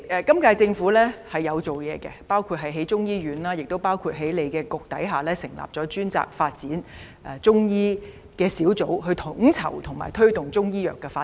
今屆政府有就此下工夫，包括興建中醫院，以及在食物及衞生局轄下成立專責發展中醫的小組，負責統籌及推動中醫藥的發展。